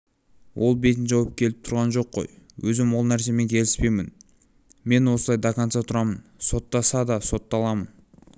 ол бетін жауып келіп тұрған жоқ қой өзім ол нәрсемен келіспеймін мен осылай до конца тұрамын соттаса да сотталамын